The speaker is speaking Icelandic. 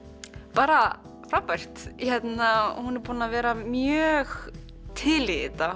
bara frábært hún er búin að vera mjög til í þetta